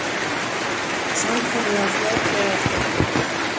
Samkomulag fljótlega eftir helgi